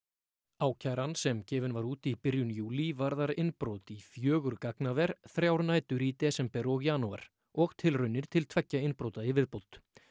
ákæran sem gefin var út í byrjun júlí varðar innbrot í fjögur gagnaver þrjár nætur í desember og janúar og tilraunir til tveggja innbrota í viðbót